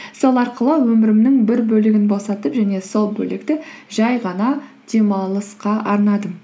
сол арқылы өмірімнің бір бөлігін босатып және сол бөлікті жай ғана демалысқа арнадым